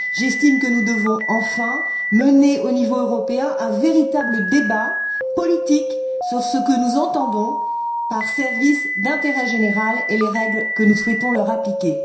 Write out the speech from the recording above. J'estime que nous devons, enfin, mener au niveau européen un véritable débat politique sur ce que nous entendons par services d'intérêt général et les règles que nous souhaitons leur appliquer.